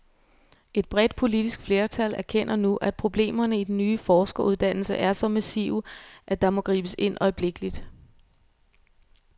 Et bredt politisk flertal erkender nu, at problemerne i den nye forskeruddannelse er så massive, at der må gribes ind øjeblikkeligt.